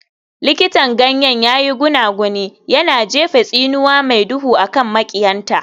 Likitan ganyen ya yi gunaguni, yana jefa tsinuwa mai duhu a kan maƙiyanta.